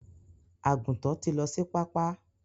Àgùntàn tí lọ sí pápá.